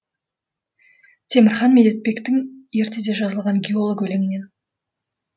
темірхан медетбектің ертеде жазылған геолог өлеңінен